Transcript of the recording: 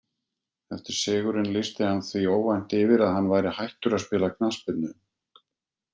Eftir sigurinn lýsti hann því óvænt yfir að hann væri hættur að spila knattspyrnu.